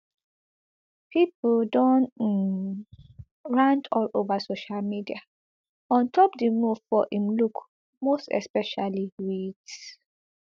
pipo don um rant all ova social media on top di move for im look most especially wit